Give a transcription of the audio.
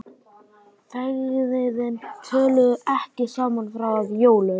Feðginin töluðu ekki saman fram að jólum.